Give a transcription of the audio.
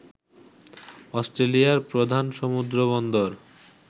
অস্ট্রেলিয়ার প্রধান সমুদ্র বন্দর